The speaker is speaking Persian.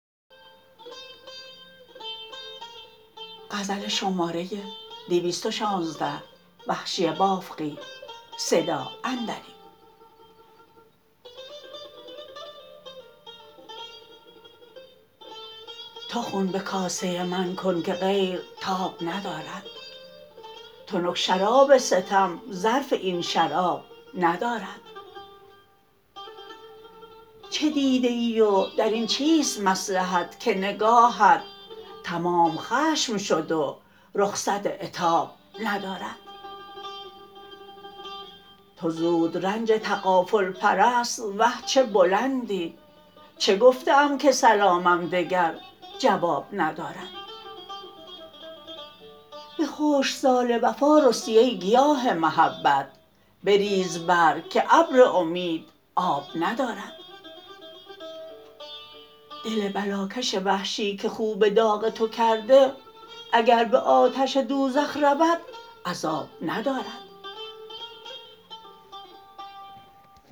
تو خون به کاسه من کن که غیرتاب ندارد تنک شراب ستم ظرف این شراب ندارد چه دیده ای و درین چیست مصلحت که نگاهت تمام خشم شد و رخصت عتاب ندارد تو زود رنج تغافل پرست وه چه بلندی چه گفته ام که سلامم دگر جواب ندارد به خشکسال وفا رستی ای گیاه محبت بریز برگ که ابر امید آب ندارد دل بلاکش وحشی که خو به داغ تو کرده اگر به آتش دوزخ رود عذاب ندارد